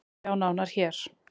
Sjá nánar hér.